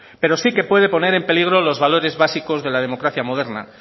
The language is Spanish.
pero sí que puede poner en peligro los valores básicos de la democracia moderna